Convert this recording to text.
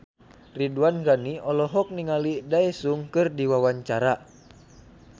Ridwan Ghani olohok ningali Daesung keur diwawancara